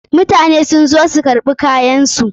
Mutanen sun zo su karɓi kayan su.